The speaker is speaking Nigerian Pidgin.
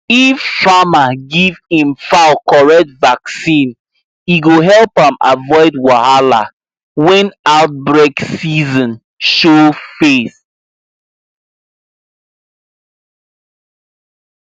if farmer give him fowl correct vaccine e go help am avoid wahala when outbreak season show face